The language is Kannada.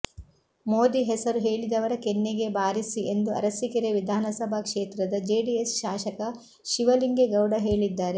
ಮೋದಿ ಹೆಸರು ಹೇಳಿದವರ ಕೆನ್ನೆಗೆ ಬಾರಿಸಿ ಎಂದು ಅರಸೀಕೆರೆ ವಿಧಾನಸಭಾ ಕ್ಷೇತ್ರದ ಜೆಡಿಎಸ್ ಶಾಸಕ ಶಿವಲಿಂಗೇಗೌಡ ಹೇಳಿದ್ದಾರೆ